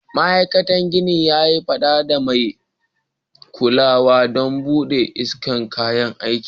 Ma aikatan gini sun yi fada da mai kulawa don babu isa'shen kayan aiki.